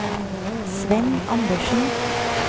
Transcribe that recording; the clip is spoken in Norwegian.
Svenn Andersen